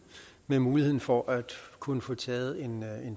med muligheden for at kunne få taget en